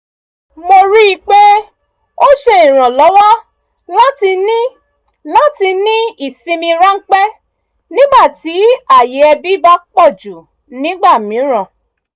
mo rí i pé ó ṣe ìrànlọ́wọ́ láti ní láti ní ìsinmi ráńpẹ́ nígbà tí ayé ẹbí bá pọ̀jù nígbà mìíràn